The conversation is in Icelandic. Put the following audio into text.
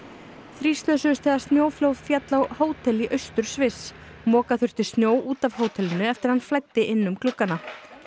þrír slösuðust þegar snjóflóð féll á hótel í austur Sviss moka þurfti snjó út af hótelinu eftir að hann flæddi inn um gluggana